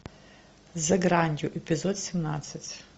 за гранью эпизод семнадцать